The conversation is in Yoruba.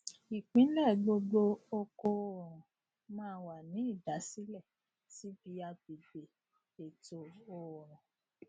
ìpìlẹ gbogbogbò oko oòrùn máa wà ní ìdásílẹ síbi agbègbè ètò oòrùn